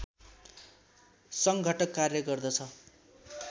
सङ्घटक कार्य गर्दछ